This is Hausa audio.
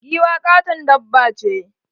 Giwa katon dabba ce.